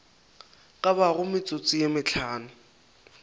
ka bago metsotso ye mehlano